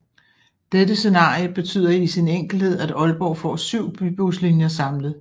Dette scenarier betyder i sin enkelthed at Aalborg får 7 Bybuslinjer samlet